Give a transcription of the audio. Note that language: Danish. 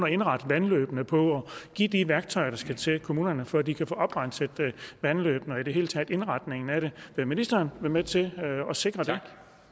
indrette vandløbene på at give de værktøjer der skal til til kommunerne for at de kan få oprenset vandløbene og i det hele taget indretningen af det vil ministeren være med til at sikre det